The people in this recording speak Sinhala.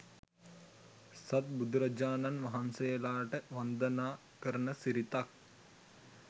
සත් බුදුරජාණන් වහන්සේලාට වන්දනා කරන සිරිතක්